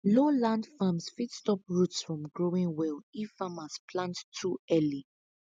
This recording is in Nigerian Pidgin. low land farms fit stop roots from growing well if farmers plant too early